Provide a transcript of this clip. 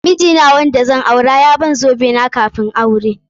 Miji na wanda zan aure ya ban zobe na kafun aure.